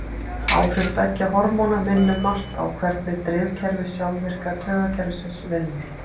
Áhrif beggja hormóna minna um margt á hvernig drifkerfi sjálfvirka taugakerfisins vinnur.